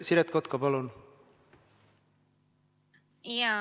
Siret Kotka, palun!